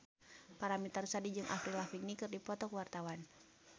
Paramitha Rusady jeung Avril Lavigne keur dipoto ku wartawan